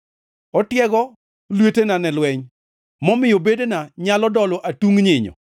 Otiego lwetena ne lweny; momiyo bedena nyalo dolo atung nyinyo.